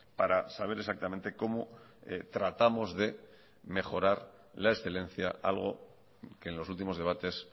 para saber exactamente cómo tratamos de mejorar la excelencia algo que en los últimos debates